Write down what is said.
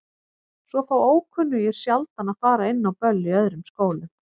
Svo fá ókunnugir sjaldan að fara inn á böll í öðrum skólum.